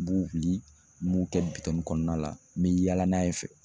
N b'u wuli n b'u kɛ bitɔnnin kɔnɔna la n bɛ yaala n'a ye fɛ.